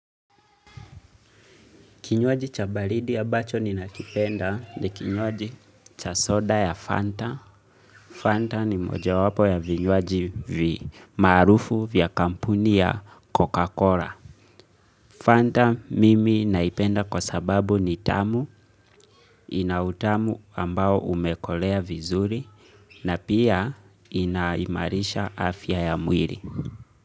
Kinywaji cha baridi ambacho ninakipenda ni kinywaji cha soda ya Fanta. Fanta ni mojawapo ya vinywaji maarufu vya kampuni ya Coca-Cola. Fanta mimi naipenda kwa sababu ni tamu ina utamu ambao umekolea vizuri na pia inaimarisha afya ya mwili.